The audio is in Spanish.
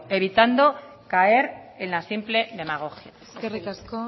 evitando caer en la simple demagogia eskerrik asko